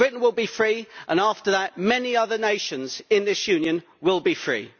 Britain will be free, and after that, many other nations in this Union will be free.